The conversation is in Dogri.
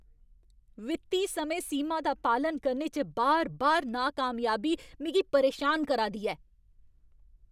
वित्ती समें सीमा दा पालन करने च बार बार नाकामयाबी मिगी परेशान करा दी ऐ।